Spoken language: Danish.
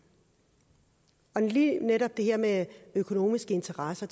og lige netop det her med økonomiske interesser